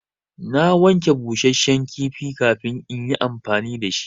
Na wanke busashen kifi kafin in yi amfani da shi.